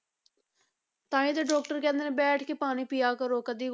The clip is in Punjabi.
ਤਾਂਹੀ ਤਾਂ doctor ਕਹਿੰਦੇ ਨੇ ਬੈਠ ਕੇ ਪਾਣੀ ਪੀਆ ਕਰੋ ਕਦੇ